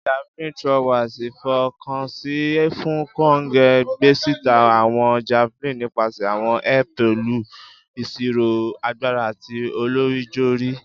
Javelin throwers ifọkansi fun konge, gbesita awọn javelin nipasẹ awọn air pẹlu iṣiro agbara ati olorijori.